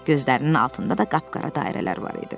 Gözlərinin altında da qapqara dairələr var idi.